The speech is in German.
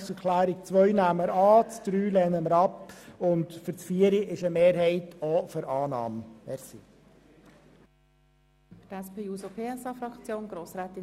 Die Planungserklärung 2 nehmen wir an, die Planungserklärung 3 lehnen wir ab, und die Planungserklärung 4 wird von einer Mehrheit der BDP-Fraktion angenommen.